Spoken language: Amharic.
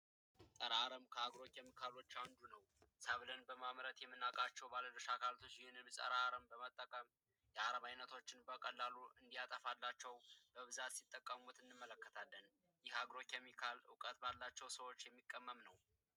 ፀረ አርም ከአግሮ ኬሚካሎች አንዱ ነው ሰብልን በማምረት የምናቃቸው ባለድርሻ አካላት ይህንን ፀረ አረም በመጠቀም የአረም ዓይነቶችን እንዲያጠፋላቸው በብዛት ሲጠቀሙት እንመለከታለን የአብሮት የሚካል ዕውቀት ባላቸው ሰዎች የሚቀመም ነው።